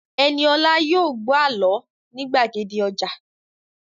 Ẹniolá yóò gbọ́ àlọ́ ní gbàgede ọjà